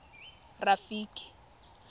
rafiki